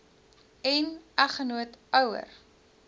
n eggenoot ouer